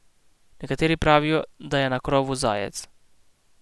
Nekateri pravijo, da je na krovu zajec.